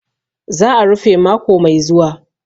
Za'a rufe mako mai zuwa.